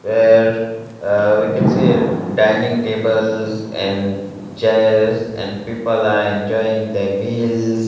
there ha we can see dining tables and chairs and people are enjoying the meals.